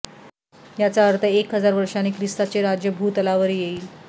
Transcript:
याचा अर्थ एक हजार वर्षांनी ख्रिस्ताचे राज्य भूतलावर येईल